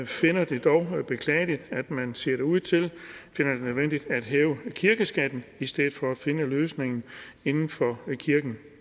finder det dog beklageligt at man ser det ud til finder det nødvendigt at hæve kirkeskatten i stedet for at finde løsningen inden for kirken